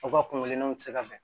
U ka kungo kelennaw tɛ se ka bɛn